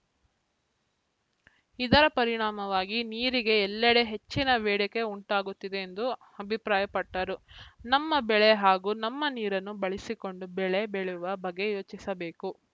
ಇದರ ಪರಿಣಾಮವಾಗಿ ನೀರಿಗೆ ಎಲ್ಲೆಡೆ ಹೆಚ್ಚಿನ ಬೇಡಿಕೆ ಉಂಟಾಗುತ್ತಿದೆ ಎಂದು ಅಭಿಪ್ರಾಯಪಟ್ಟರು ನಮ್ಮ ಬೆಳೆ ಹಾಗೂ ನಮ್ಮ ನೀರನ್ನು ಬಳಸಿಕೊಂಡು ಬೆಳೆ ಬೆಳೆಯುವ ಬಗ್ಗೆ ಯೋಚಿಸಬೇಕು